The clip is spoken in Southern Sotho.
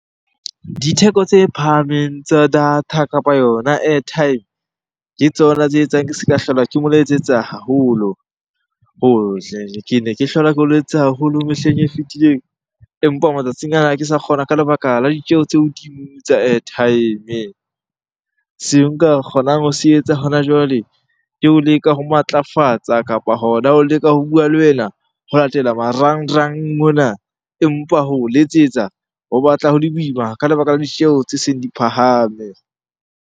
Ditheko tse phahameng tsa data kapa yona airtime, ke tsona tse etsang ke se ka hlola ke mo letsetsa haholo. Ke ne ke hlola ke o letsetsa haholo mehleng e fitileng empa matsatsing ana ha ke sa kgona ka lebaka la ditjeho tse hodimo tsa airtime. Seo nka kgonang ho se etsa hona jwale, ke o leka ho matlafatsa kapa hona ho leka ho bua le wena ho latela marangrang mona. Empa ho o letsetsa ho batla ho le boima ka lebaka la ditjeho tse seng di phahame.